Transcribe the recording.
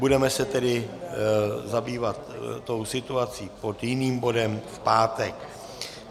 Budeme se tedy zabývat tou situací pod jiným bodem v pátek.